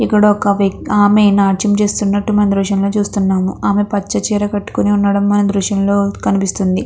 ఇక్కడ ఒక వక్తి ఆమె నాట్యం చేస్తునట్టు మనం దృశ్యం లో చూస్తున్నాము ఆమె పచ్చచీర కట్టుకుని ఉండడం మనం దృశ్యం లో కనిపిస్తుంది.